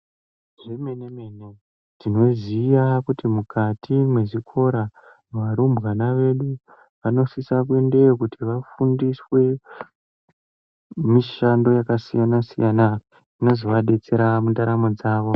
Zvemenemene tinoziya kuti mukati mwezvikora varumbwana vedu vanosisa kuendeyo kuti vafundiswe mishando yakasiyana siyana inozovadetsera mundaramo dzavo.